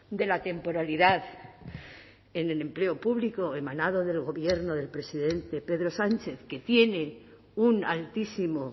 de la temporalidad en el empleo público emanado del gobierno del presidente pedro sánchez que tiene un altísimo